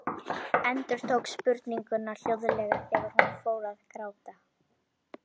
Endurtók spurninguna hljóðlega þegar hún fór að gráta.